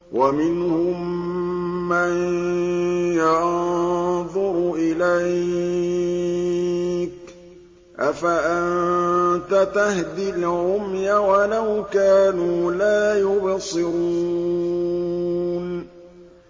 وَمِنْهُم مَّن يَنظُرُ إِلَيْكَ ۚ أَفَأَنتَ تَهْدِي الْعُمْيَ وَلَوْ كَانُوا لَا يُبْصِرُونَ